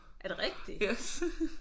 Er det rigtigt?